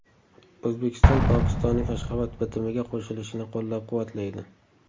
O‘zbekiston Pokistonning Ashxobod bitimiga qo‘shilishini qo‘llab-quvvatlaydi.